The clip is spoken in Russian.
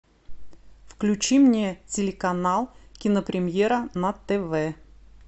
включи мне телеканал кинопремьера на тв